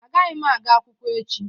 Agaghị m aga akwụkwọ echi.